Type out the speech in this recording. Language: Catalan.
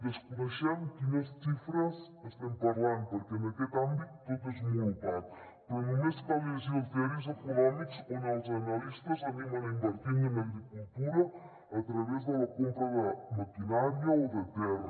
desconeixem de quines xifres estem parlant perquè en aquest àmbit tot és molt opac però només cal llegir els diaris econòmics on els analistes animen a invertir en agricultura a través de la compra de maquinària o de terra